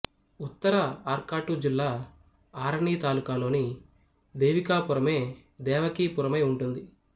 ఉత్తర ఆర్కాటు జిల్లా ఆరణి తాలూకాలోని దేవికాపురమే దేవకీపురమై ఉంటుంది